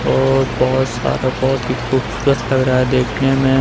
और बहुत सारा बहुत ही खूबसूरत लग रहा है देखने में।